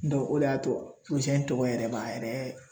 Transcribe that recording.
o de y'a to in tɔgɔ yɛrɛ b'a yɛrɛ